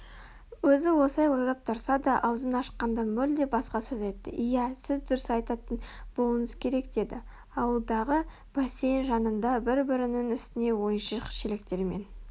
Өзі осылай ойлап отырса да аузын ашқанда мүлде басқа сөз айтты иә сіз дұрыс айтатын болуыңыз керек деді ауладағы бассейн жанында бір-бірінің үстіне ойыншық шелектермен